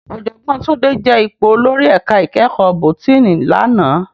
Òjògbòn Tunde je ipó ólórì èká ikèékò bótìní làná